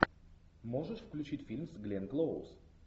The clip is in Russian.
можешь включить фильм с гленн клоуз